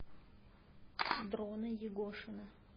дрона егошина